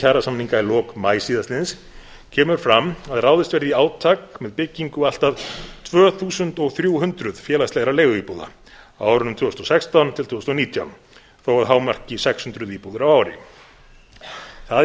kjarasamninga í lok maí síðastliðins kemur fram að ráðist verði í átak með byggingu allt að tvö þúsund þrjú hundruð félagslegra leiguíbúða á árunum tvö þúsund og sextán til tvö þúsund og nítján þó að hámarki sex hundruð íbúðir á ári það er